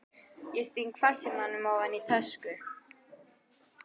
Ég sting farsímanum ofan í tösku.